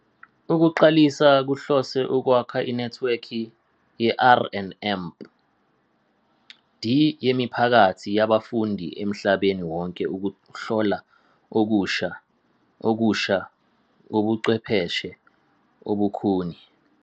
Ukuqalisa kuhlose ukwakha inethiwekhi ye-R and D yemiphakathi yabafundi emhlabeni wonke ukuhlola okusha okusha kobuchwepheshe obukhuni.